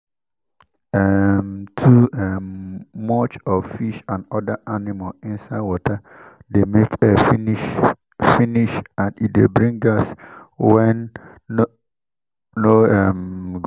um too um much of fish and other animal inside water de make air finish finish and e de bring gas wen no no um good